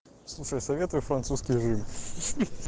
слушай советую французский жим